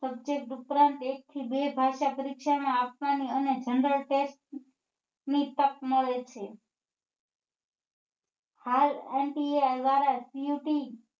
Subject ઉપરાંત એક થી બે ભાષા પરીક્ષા માં આપવા ની અને general tax ની તક મળે છે દ્વારા cut